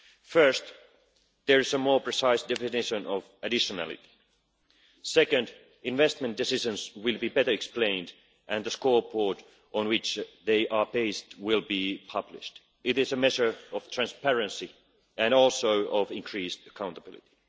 of them. First, there is a more precise definition of additionally', and, second, investment decisions will be better explained and the scoreboard on which they are based will be published. This is a measure of transparency and also of increased accountability.